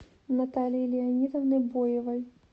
наталии леонидовны боевой